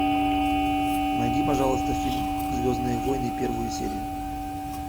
найди пожалуйста фильм звездные войны первую серию